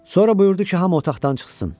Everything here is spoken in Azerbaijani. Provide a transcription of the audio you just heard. Sonra buyurdu ki, hamı otaqdan çıxsın.